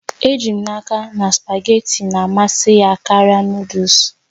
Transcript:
Eji m n'aka na spugeetí na-amasị ya karịa Nụ́dúls